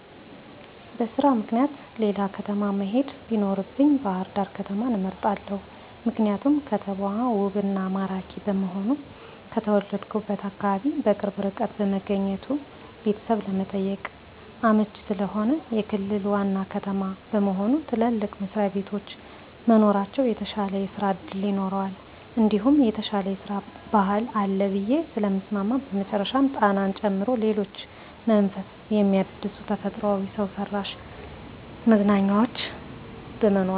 በስራ ምክኒያት ሌላ ከተማ መሄድ ቢኖርብኝ ባህርዳር ከተማን እመርጣለሁ። ምክንያቱም ከተማው ውብ እና ማራኪ በመሆኑ፣ ከተወለድሁበት አካባቢ በቅርብ ርቀት በመገኘቱ ቤተሰብ ለመጠየቅ አመቺ ስለሆነ፣ የክልል ዋና ከተማ በመሆኑ ትልልቅ መስሪያቤቶች መኖራቸው የተሻለ ስራ እድል ይኖረዋል እንዲሁም የተሻለ የስራ ባህል አለ ብየ ስለማምን በመጨረሻም ጣናን ጨምሮ ሌሎች መንፈስ ሚያድሱ ተፈጥሯዊ እና ሰውሰራሽ መዝናኛዎች በመኖራቸው።